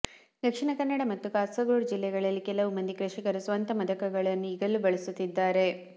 ದಕ್ಷಿಣ ಕನ್ನಡ ಮತ್ತು ಕಾಸರಗೋಡು ಜಿಲ್ಲೆಗಳಲ್ಲಿ ಕೆಲವು ಮಂದಿ ಕೃಷಿಕರು ಸ್ವಂತ ಮದಕಗಳನ್ನು ಈಗಲೂ ಬಳಸುತ್ತಿದ್ದಾರೆ